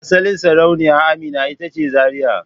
Asalin Sarauniya Amina ita ce Zaria.